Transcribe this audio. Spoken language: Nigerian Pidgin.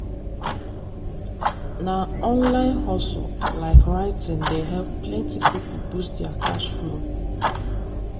na online hustle like writing dey help plenty people boost their cash flow.